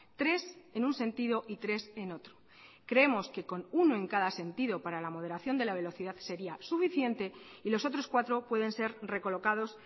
tres en un sentido y tres en otro creemos que con uno en cada sentido para la moderación de la velocidad sería suficiente y los otros cuatro pueden ser recolocados